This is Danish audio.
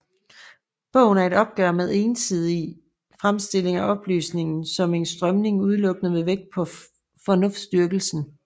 Bogen er et opgør med ensidige fremstillinger af oplysningen som en strømning udelukkende med vægt på fornuftsdyrkelsen